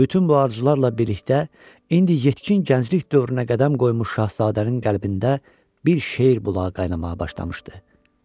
Bütün bu arzularla birlikdə indi yetkin gənclik dövrünə qədəm qoymuş Şahzadənin qəlbində bir şeir bulağı qaynanağa başlamışdı.